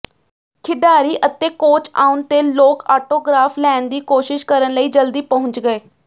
ਖਿਡਾਰੀ ਅਤੇ ਕੋਚ ਆਉਣ ਤੇ ਲੋਕ ਆਟੋਗ੍ਰਾਫ ਲੈਣ ਦੀ ਕੋਸ਼ਿਸ਼ ਕਰਨ ਲਈ ਜਲਦੀ ਪਹੁੰਚਣਗੇ